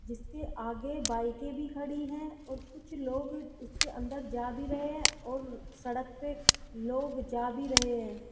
जिसके आगे बाईकें भी खड़ी हैं और कुछ लोग उसके अंदर जा भी रहे हैं और सड़क पे लोग जा भी रहे हैं।